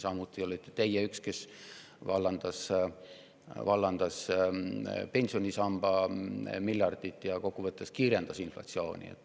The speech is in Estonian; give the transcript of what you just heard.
Samuti olite teie üks neist, kes vallandas pensionisamba miljardid ja kokkuvõttes kiirendas inflatsiooni.